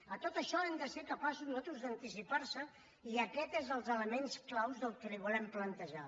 a tot això hem de ser capaços nosaltres d’anticipar nos i aquest és un dels elements claus del que li volem plantejar